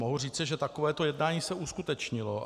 Mohu říci, že takovéto jednání se uskutečnilo.